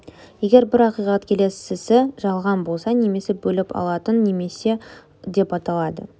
егер бірі ақиқат келесісі жалған болса немесе бөліп алатын немесе деп аталады